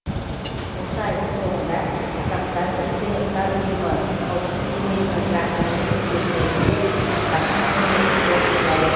осы айдың соңында қазақстан бұұ қауіпсіздік кеңесінің тұрақты емес мүшесі ретінде атқарған қызметін қорытындылайды